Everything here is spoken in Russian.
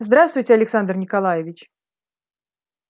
здравствуйте александр николаевич